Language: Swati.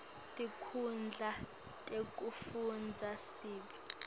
tinkhundla tekufundza sib